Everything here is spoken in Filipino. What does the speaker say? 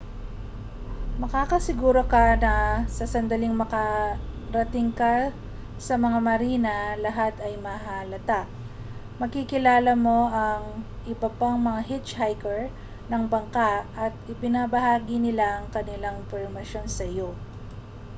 makakasiguro ka na sa sandaling makarating ka sa mga marina lahat ay mahahalata makikilala mo ang iba pang mga hitchhiker ng bangka at ibabahagi nila ang kanilang impormasyon sa iyo